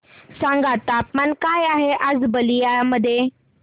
सांगा तापमान काय आहे आज बलिया मध्ये